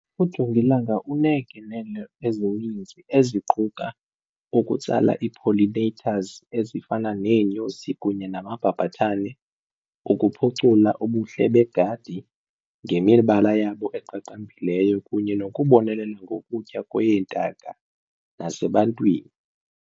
Ujongilanga uneengenelo ezininzi eziquka ukutsala i-pollinators ezifana neenyosi kunye namabhabhathane, ukuphucula ubuhle begadi ngemibala yabo eqaqambileyo kunye nokubonelela ngokutya kweentaka nasebantwini.